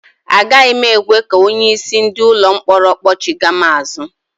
Agaghị m ekwe ka onye isi ndị ụlọ mkpọrọ kpọchigha m azụ